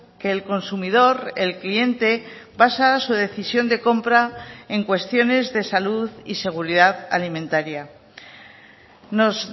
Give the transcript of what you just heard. que el consumidor el cliente basa su decisión de compra en cuestiones de salud y seguridad alimentaria nos